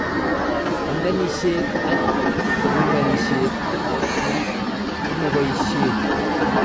Pagishek ak kiungoishek alak komaboishe